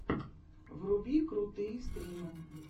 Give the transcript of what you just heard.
вруби крутые стримы